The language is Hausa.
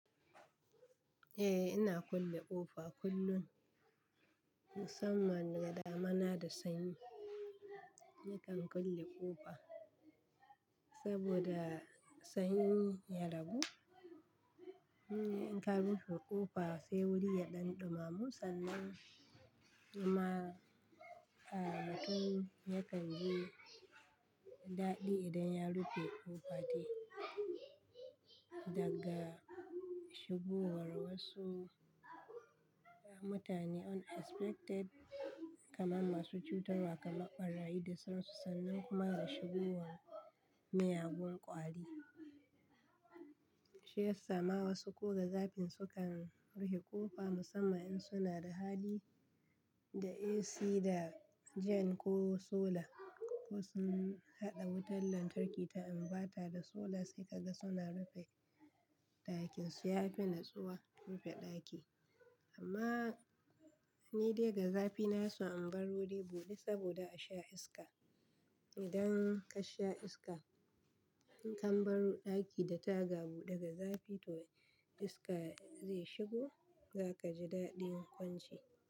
Eh, ina kulle ƙofa kullum musamman ga damuna da sanyi. Nakan kulle ƙofa saboda sanyi ya ragu. In ka rufe ƙofa sai wuri ya ɗan ɗumamu sannan in ma amadu yakan ji daɗi idan ya rufe ƙofa dai daga shigowar wasu mutane unexpected kamar masu cutarwa kamar ɓarayi da sasu sannan kuma da shigowar miyagun ƙwari. Shi ya sa ma wasu ko da zafin su kan rufe ƙofa musamman in suna da hali da AC da jen ko solar ko sun haɗa wutar lantarki ta imbata da solar sai ka ga suna rufe ɗakin su. Yafi natsuwa rufe ɗaki amma ni dai ga zafi na hison in bar wuri buɗe saboda a sha iska. Idan ka sha iska, in ka baro ɗaki da taga buɗe ga zafi to iska zai shigo za ka ji daɗin kwance.